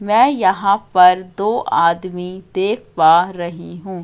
मैं यहां पर दो आदमी देख पा रही हूं।